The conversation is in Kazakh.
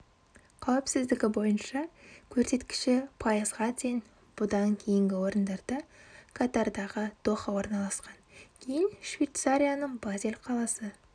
қауіпсіздігі бойынша көрсеткіші пайызға тең бұдан кейінгі орындарда катардағы доха орналасқан кейін швейцарияның базель қаласы